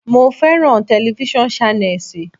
Mo fẹ́ràn telifísàn Ṣánẹ́sì.